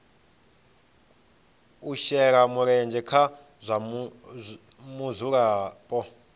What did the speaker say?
u shela mulenzhe ha mudzulapo